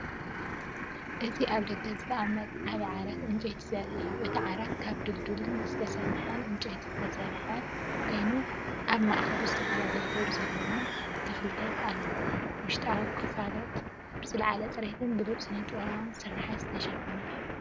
እዚ ኣብ ደገ ዝተቐመጠ ዓቢ ዓራት ዕንጨይቲ ዘርኢ እዩ። እቲ ዓራት ካብ ድልዱልን ዝተሰፍሐን ዕንጨይቲ ዝተሰርሐ ኮይኑ፡ ኣብ ማእከሉ ዝተፈላለየ ሕብሪ ዘለዎም ክፍልታት ኣለዎ። ውሽጣዊ ክፍላ ብዝለዓለ ጽሬትን ብሉጽን ስነ-ጥበባዊ ስርሓት ዝተሸፈነ እዩ።